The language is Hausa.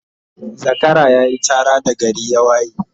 Zakara yayi Chara da gari ya waye